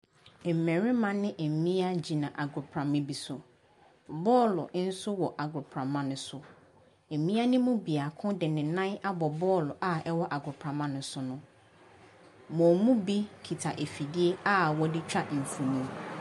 Mmarima ne mmea da agoprama bi so, bɔɔlo nso wɔ agoprama ne so. Mmea ne mu biako de nan abɔ bɔɔlo a ɛwɔ agoprama ne so no. Wɔn mu bi kita afidie a wɔde twa mfonin.